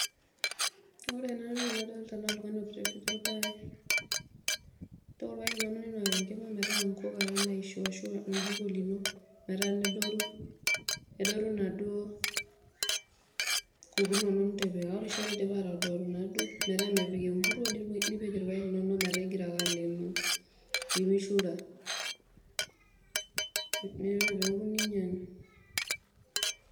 Ore ena toki nadoloota naa oltungani otapejo ilpayek, inook enkima metaa inkuk ake naishu arashu oljiko lino mpaka nedoru inaduo kuk inono nitipika. Ore idipa naaduo atodoro metaa mepik emburuo, nipik ilpayek linono metaa ingirra ake aleenoo pee meishura, ore pee eouku nenyiangi.